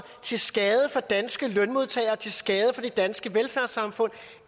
til skade for danske lønmodtagere til skade for det danske velfærdssamfund